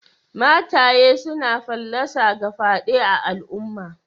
Mataye suna fallasa ga fyade a'alumma.